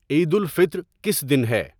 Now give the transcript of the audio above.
عید الفطر کس دن ہے